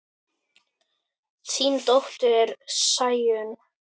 Þín dóttir, Sæunn.